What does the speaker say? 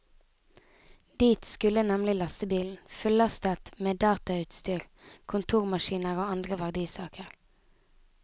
Dit skulle nemlig lastebilen, fullastet meddatautstyr, kontormaskiner og andre verdisaker.